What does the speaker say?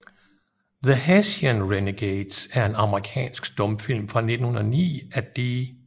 The Hessian Renegades er en amerikansk stumfilm fra 1909 af D